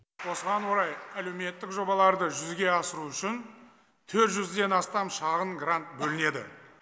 осыған орай әлеуметтік жобаларды жүзеге асыру үшін төрт жүзден астам шағын грант бөлінеді